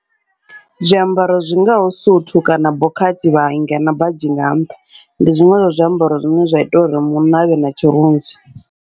Zwiambaro zwingaho suthu kana bokhathi vha inga nga badzhi nga nṱha, ndi zwiṅwe zwa zwiambaro zwine zwa ita uri munna avhe na tshirunzi.